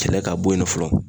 Kɛlɛ ka bɔ yen nɔ fɔlɔ.